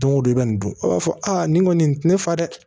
Don o don i bɛ nin dun a b'a fɔ aa nin kɔni tɛ ne fa dɛ